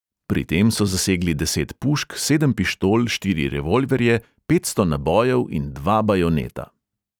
Pri tem so zasegli deset pušk, sedem pištol, štiri revolverje, petsto nabojev in dva bajoneta.